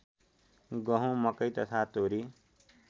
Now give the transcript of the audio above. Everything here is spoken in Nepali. गहुँ मकै तथा तोरी